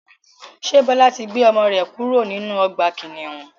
Ṣé Bọlá tí gbé ọmọ rẹ kúrò nínú ọgbà kìnnìún?